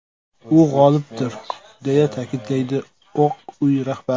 U g‘olibdir”, deya ta’kidlaydi Oq uy rahbari.